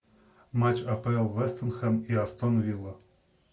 матч апл вест хэм и астон вилла